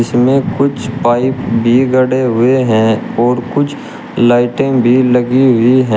इसमें कुछ पाइप भी गड़े हुए हैं और कुछ लाइटे भी लगी हुई है।